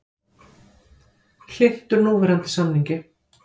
Hlynntur núverandi samningi